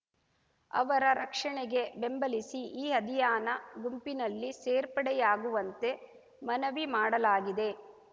ಅವರ ರಕ್ಷಣೆಗೆ ಬೆಂಬಲಿಸಿ ಈ ಅಧಿಯಾನ ಗುಂಪಿನಲ್ಲಿ ಸೇರ್ಪಡೆಯಾಗುವಂತೆ ಮನವಿ ಮಾಡಲಾಗಿದೆ